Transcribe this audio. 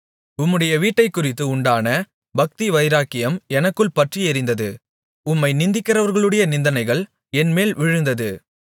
உம்முடைய வீட்டைக்குறித்து உண்டான பக்திவைராக்கியம் எனக்குள் பற்றியெரிந்தது உம்மை நிந்திக்கிறவர்களுடைய நிந்தனைகள் என்மேல் விழுந்தது